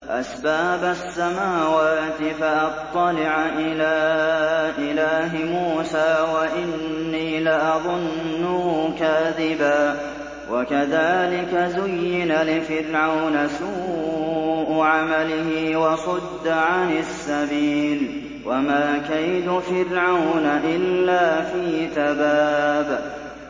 أَسْبَابَ السَّمَاوَاتِ فَأَطَّلِعَ إِلَىٰ إِلَٰهِ مُوسَىٰ وَإِنِّي لَأَظُنُّهُ كَاذِبًا ۚ وَكَذَٰلِكَ زُيِّنَ لِفِرْعَوْنَ سُوءُ عَمَلِهِ وَصُدَّ عَنِ السَّبِيلِ ۚ وَمَا كَيْدُ فِرْعَوْنَ إِلَّا فِي تَبَابٍ